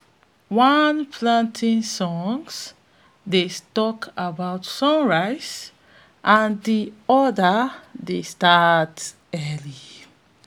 one planting song dey talk about sunrise and de need to dey start early